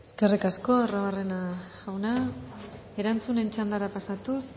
eskerrik asko arruabarrena jauna erantzunen txandara pasatuz